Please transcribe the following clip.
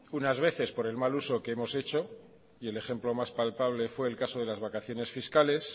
unas veces por el mal uso que hemos hecho y el ejemplo más palpable fue el caso de las vacaciones fiscales